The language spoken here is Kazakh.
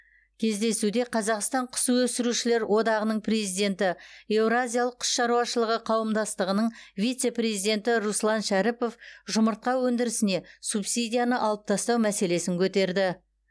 кездесуде қазақстан құс өсірушілер одағының президенті еуразиялық құс шаруашылығы қауымдастығының вице президенті руслан шәріпов жұмыртқа өндірісіне субсидияны алып тастау мәселесін көтерді